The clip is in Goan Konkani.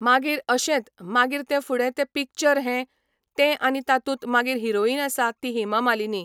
मागीर अशेंत मागीर ते फुडें ते पिक्चर हें तें आनी तातूंत मागीर हिरोईन आसा ती हेमा मलिनी.